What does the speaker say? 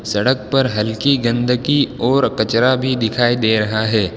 सड़क पर हल्की गंध की ओर कचरा भी दिखाई दे रहा है।